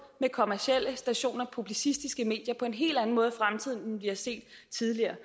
med kommercielle stationer og publicistiske medier på en helt anden måde i fremtiden end vi har set tidligere